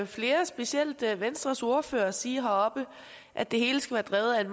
flere specielt venstres ordfører sige heroppe at det hele skal være drevet af